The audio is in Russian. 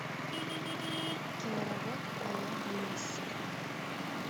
киноработа баллада несси